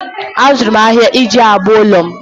Azụrụ m ahịhịa iji agba ụlọ m